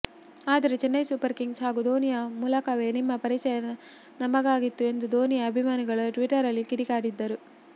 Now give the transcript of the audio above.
ಆದರೆ Chennai super kings ಹಾಗೂ ಧೋನಿಯ ಮೂಲಕವೇ ನಿಮ್ಮ ಪರಿಚಯ ನಮಗಾಗಿತ್ತು ಎಂದು ಧೋನಿಯ ಅಭಿಮಾನಿಗಳು ಟ್ವೀಟರ್ನಲ್ಲಿ ಕಿಡಿಕಾರಿದ್ದಾರೆ